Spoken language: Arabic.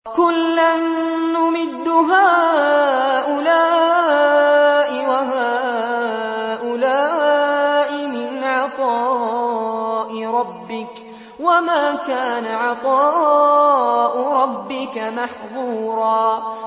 كُلًّا نُّمِدُّ هَٰؤُلَاءِ وَهَٰؤُلَاءِ مِنْ عَطَاءِ رَبِّكَ ۚ وَمَا كَانَ عَطَاءُ رَبِّكَ مَحْظُورًا